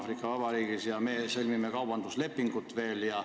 See on juba varem sõlmitud leping ja nüüd me sõlmime veel kaubanduslepingut.